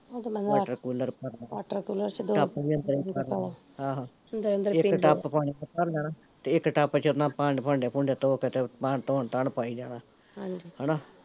watercooler, tub ਵੀ ਅੰਦਰੇ ਭਰਨਾ, ਆਹੋ ਇੱਕ ਟੱਪ ਪਾਣੀ ਦਾ ਭਰ ਲੈਣਾ ਤੇ ਇੱਕ ਟੱਪ ਚ ਆਪਣਾ ਭਾਂਡੇ ਭੂੰਡੇ ਧੋਕੇ ਤੇ ਬਾਹਰ ਧੋਣ ਧੋਣ ਪਾਈ ਜਾਣਾ ਹਮ ਹੈਨਾ